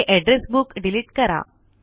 हे address book delete करा